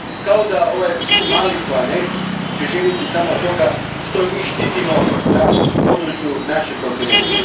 Kao da će ovaj mali planet živjeti samo od toga što ga mi štitimo na području našeg kontinenta.